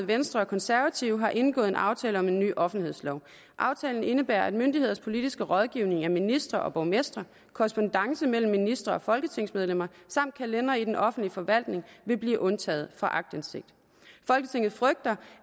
venstre og konservative har indgået aftale om en ny offentlighedslov aftalen indebærer at myndigheders politiske rådgivning af ministre og borgmestre korrespondance mellem ministre og folketingsmedlemmer samt kalendere i den offentlige forvaltning vil blive undtaget fra aktindsigt folketinget frygter